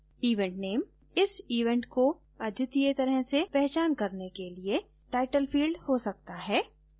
event name इस event को अद्वितीय तरह से पहचान करने के लिएtitle field हो सकता है